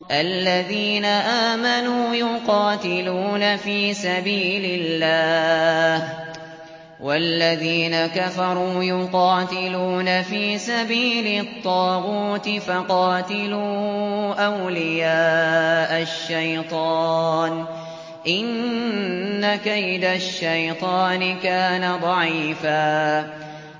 الَّذِينَ آمَنُوا يُقَاتِلُونَ فِي سَبِيلِ اللَّهِ ۖ وَالَّذِينَ كَفَرُوا يُقَاتِلُونَ فِي سَبِيلِ الطَّاغُوتِ فَقَاتِلُوا أَوْلِيَاءَ الشَّيْطَانِ ۖ إِنَّ كَيْدَ الشَّيْطَانِ كَانَ ضَعِيفًا